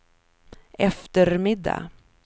eftermiddag